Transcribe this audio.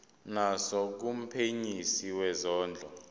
naso kumphenyisisi wezondlo